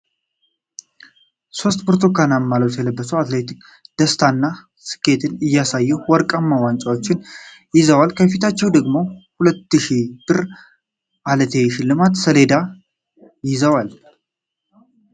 ሦስት ብርቱካናማ ልብስ የለበሱ አትሌቶች ደስታንና ስኬትን እያሳዩ ወርቃማ ዋንጫዎችን ይዘዋል። ከፊታቸው ደግሞ የ"200,000 ብር እልቴ " ሽልማት ሰሌዳ ይዘዋል ።